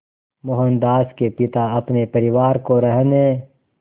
मोहनदास के पिता अपने परिवार को रहने